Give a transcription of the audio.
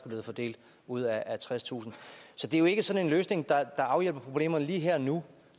blevet fordelt ud af tredstusind så det er jo ikke sådan en løsning der afhjælper problemerne lige her og nu